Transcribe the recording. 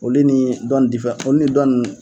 Olu ni dɔn olu ni dɔ ninnu.